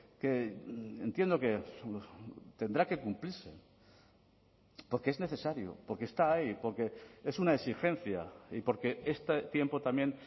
que entiendo que tendrá que cumplirse porque es necesario porque está ahí porque es una exigencia y porque este tiempo también